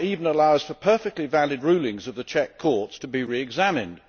Charter even allows for perfectly valid rulings of the Czech courts to be re examined.